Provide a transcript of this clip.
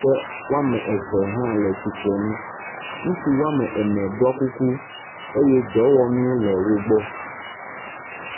ke wɔme eve hã le tsitrenu. Ŋutsu wɔme ene ɖɔ kuku eye dɔwɔnu le wo gbɔ.